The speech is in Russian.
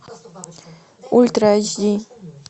ультра эйч ди